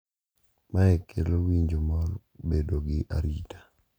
Mae kelo winjo mar bedo gi arita,